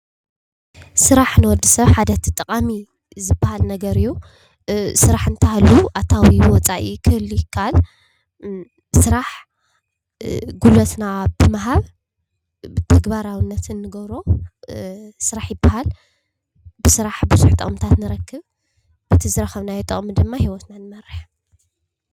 ስራሕ ንወዲ ሰብ ሓደ እቲ ጠቃሚ ዝበሃል ነገር እዩ፡፡ ስራሕ እንተሃልዩ አታዊን ወፃኢን ክህሉ ይከኣል፡፡ ስራሕ ጉልበትና ብምሃብ ተግባራዊነት እንገብሮ ስራሕ ይበሃል፡፡ ብስራሕ ቡዙሕ ጥቅሚታት ንረክብ፡፡ በቲ ዝረከብናዮ ጥቅሚ ድማ ሂወትና ንመርሕ፡፡